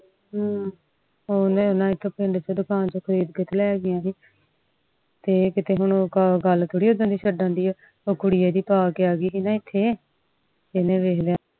ਹਮ ਹੋਰ ਵੇਖਲਾ ਇਕ ਪਿੰਡ ਚ ਦੁਕਾਨ ਤੋਂ ਲੈ ਕ ਆਏ ਓਦਣ ਦੇ ਗੱਲ ਥੋੜੀ ਛੱਡਣ ਦੇ ਅ ਉਹ ਕੁੜੀ ਏਡੀ ਇੱਥੇ ਪਾ ਕੇ ਅਗਿ ਸੀ ਨਾ ਇੱਥੇ ਏਨਾ ਵੇਖ ਲਿਆ